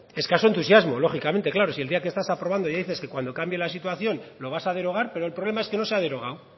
decía escaso entusiasmo lógicamente claro si el día que estas aprobando ya dices que cuando cambie la situación lo vas a derogar pero el problema es que no se ha derogado